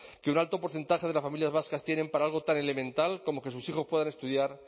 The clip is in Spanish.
que un alto porcentaje de las familias vascas tienen para algo tan elemental como que sus hijos puedan estudiar